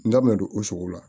N da mɛ don o sogo la